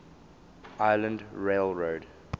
island rail road